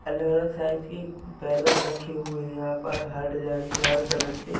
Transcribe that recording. अलग-अलग साइज की रखे हुए यहां पर हर डिजाइन के हर कलर के।